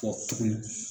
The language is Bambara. Kɔ tuguni